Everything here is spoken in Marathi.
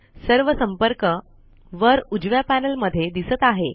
सर्व संपर्क वर उजव्या पैनल मध्ये दिसत आहे